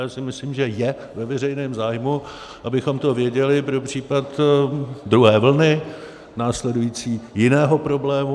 Právě si myslím, že je ve veřejném zájmu, abychom to věděli pro případ druhé vlny, následující, jiného problému.